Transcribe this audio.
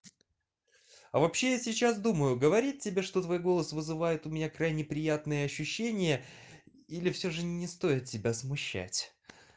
а вообще я сейчас думаю говорит тебе что твой голос вызывает у меня крайне приятные ощущения или всё же не стоит тебя смущать